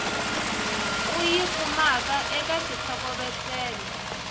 u yi kumaka eka xitlhokovetselo